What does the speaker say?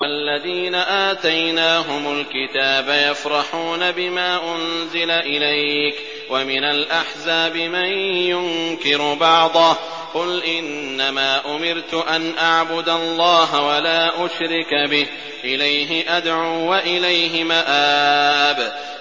وَالَّذِينَ آتَيْنَاهُمُ الْكِتَابَ يَفْرَحُونَ بِمَا أُنزِلَ إِلَيْكَ ۖ وَمِنَ الْأَحْزَابِ مَن يُنكِرُ بَعْضَهُ ۚ قُلْ إِنَّمَا أُمِرْتُ أَنْ أَعْبُدَ اللَّهَ وَلَا أُشْرِكَ بِهِ ۚ إِلَيْهِ أَدْعُو وَإِلَيْهِ مَآبِ